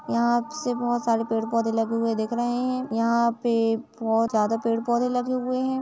यहाँ अबसे बहुत सारे पेड़ पौधे लगे दिख हुए रहै है। यहाँ पे बोहोत ज्यादा पेड पौधे लगे हुए है।